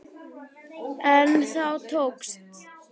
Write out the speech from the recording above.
En það tókst.